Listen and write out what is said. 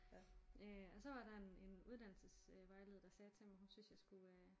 Øh og så var der en en uddannelsesvejleder der sagde til mig hun jeg skulle øh